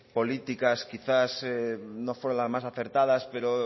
políticas quizás no fueron las más acertadas pero